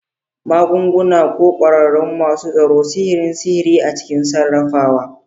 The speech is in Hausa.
Magunguna, ko kwararru masu tsaro, sihirin sihiri a cikin sarrafawa.